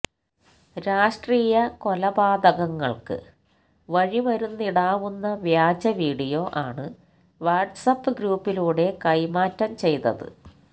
രാഷ്ട്രീയകൊലപാതകങ്ങള്ക്ക് വഴിമരുന്നിടാവുന്ന വ്യാജവീഡിയോ ആണ് വാട്സ് ആപ്പ് ഗ്രൂപ്പിലൂടെ കൈമാറ്റംചെയ്തത്